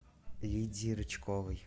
лидии рычковой